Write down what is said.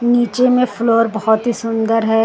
नीचे में फ्लोर बहुत ही सुंदर है।